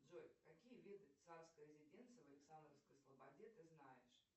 джой какие виды царской резиденции в александровской слободе ты знаешь